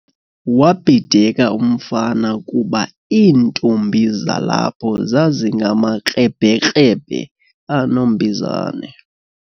Wabhideka umfana kuba iintombi zalapho zazingamakrebhekrebhe anombizane.